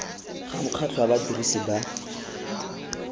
ga mokgatlho wa badirisi ba